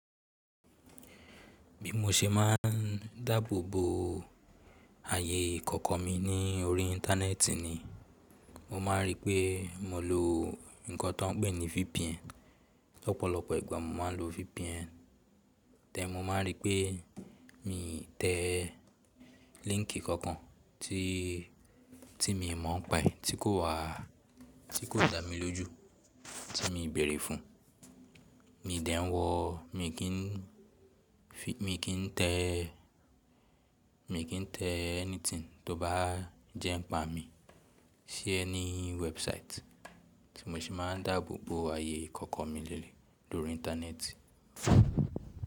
Bí mo ṣe máà ń dáàbòbò ààyè ìkọ̀kọ̀ mi ní orí íńtánẹ́ẹ̀tì ni, mo máà ń rí pé mo lo nǹkan tó ń pè ní VPN. Ọ̀pọ̀lọpọ̀ ìgbà mo máà ń lo VPN then mo máà ń rí pé mi tẹ́ link kankan tí, tí mi mọ̀ọ́ pàí tí kò wá, tí kò dámi lójú tí mi bẹ̀rẹ̀ fún, mi dẹ̀ ń wọ̀, mi kì ń fi, mi kì n tẹ́, mi kì n tẹ́ anything tó bá jẹ́ ń pa mi sí any website tí mo ṣe máà ń dáàbòbò ààyè ìkọ̀kọ̀ mi leleyii lórí íńtánẹ́ẹ̀tì.